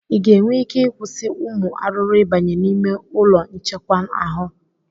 ị ga-enwe ike ịkwụsị ụmụ arụrụ ịbanye n'ime ụlọ nchekwa ahụ?